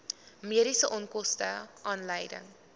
mediese onkoste aanleiding